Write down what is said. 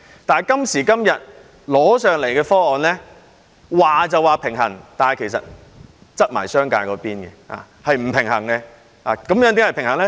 但是，今時今日提交立法會的方案，雖說是平衡，但卻傾斜商界，是不平衡的。